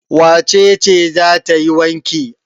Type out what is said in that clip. Wace ce za ta yi wanki?